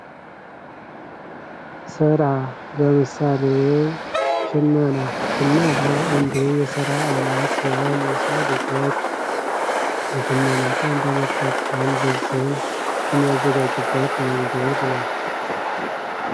ስራ፤ ለምሳሌ ሽመና፦ ሽመና አንዱ የስራ አይነት ሲሆን የሰው ልጆች የሽመና እቃን በመጠቀም ልብስን የሚያዘጋጁት መንገድ ነው።